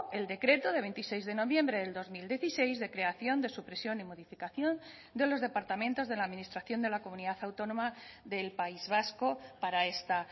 el decreto de veintiséis de noviembre del dos mil dieciséis de creación de supresión y modificación de los departamentos de la administración de la comunidad autónoma del país vasco para esta